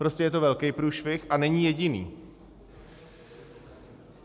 Prostě je to velkej průšvih a není jediný.